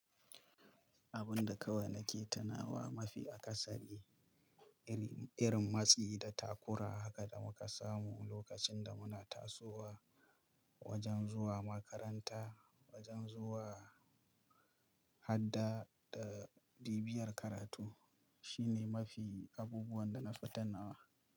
Abun da kawai nake tunawa mafi a kasari, irin, irin matsi da takura haka da muka samu lokacin da muna tasowa wajen zuwa makaranta, wajen zuwa hadda da bibiyar karatu shine mafi abubuwan da nafi tanawa.